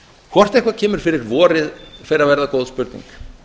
hvort eitthvað kemur fyrir vorið fer að verða góð spurning